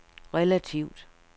relativt